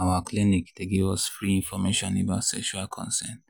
our clinic dey give us free information about sexual consent